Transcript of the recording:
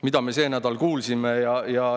" Mida me see nädal kuulsime?